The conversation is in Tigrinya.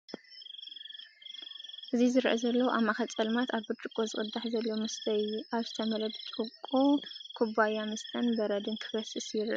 እዚ ዝረአ ዘሎ ኣብ ማእከል ጸልማት ኣብ ብርጭቆ ዝቅዳሕ ዘሎ መስተ እዩ። ኣብ ዝተመልአ ብርጭቆ ኩባያ መስተን በረድን ክፈስስ ይረአ ኣሎ።